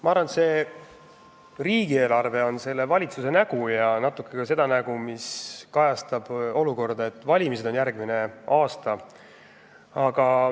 Ma arvan, et see riigieelarve on selle valitsuse nägu ja natuke peegeldab see nägu ka tõsiasja, et valimised on järgmine aasta.